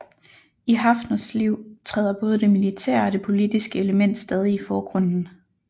I Haffners liv træder både det militære og det politiske element stadig i forgrunden